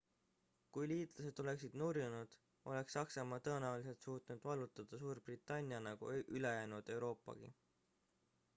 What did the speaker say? kui liitlased oleksid nurjunud oleks saksamaa tõenäoliselt suutnud vallutada suurbritannia nagu ülejäänud euroopagi